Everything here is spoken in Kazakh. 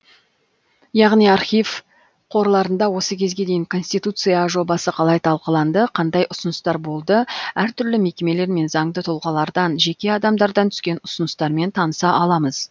яғни архив қорларында осы кезге дейін конституция жобасы қалай талқыланды қандай ұсыныстар болды әртүрлі мекемелер мен заңды тұлғалардан жеке адамдардан түскен ұсыныстармен таныса аламыз